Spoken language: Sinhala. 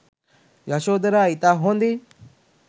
යශෝදරා ඉතා හොදින්